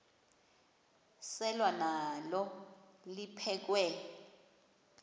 selwa nalo liphekhwe